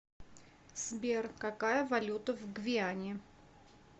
сбер какая валюта в гвиане